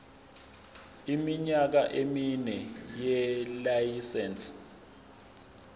iminyaka emine yelayisense